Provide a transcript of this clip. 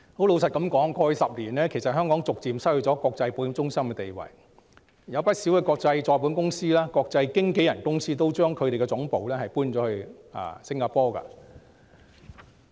老實說，過去10年，香港逐漸失去國際保險中心的地位，不少國際再保險公司和國際經紀人公司也將其總部遷往新加坡。